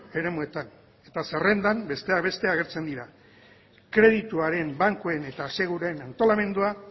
eremuetan eta zerrendan besteak beste agertzen dira kredituaren bankuen eta aseguruen antolamendua